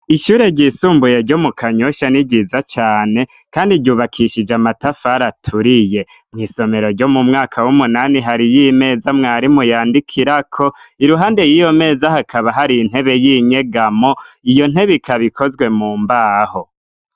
Ishure ryisumbuye ryo mu kanyosha ni ryiza cane, kandi ryubakishije amatafaraturiye mw'isomero ryo mu mwaka w'umunani hari yo imeza mwarimuyandikirako iruhande y'iyo meza hakaba hari intebe y'inyegamo iyo ntebe ikabikozwe mu mbaho.